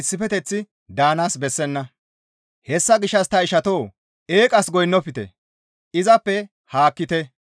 Hessa gishshas ta siiqotoo! Eeqas goynnofte; izappe haakkite.